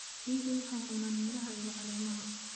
Riyuhu waxay cunaan miraha iyo caleemaha.